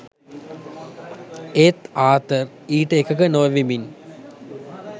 ඒත් ආතර් ඊට එකඟ නොවෙමින්.